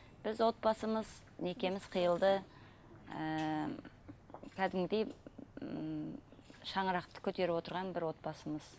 біз отбасымыз некеміз қиылды ыыы кәдімгідей ммм шаңырақты көтеріп отырған бір отбасымыз